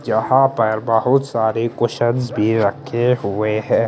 जहां पर बहुत सारे कुशनस भी रखे हुए हैं।